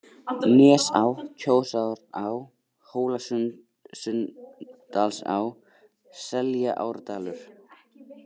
Nesá, Kjósará, Hólasunndalsá, Seljaárdalur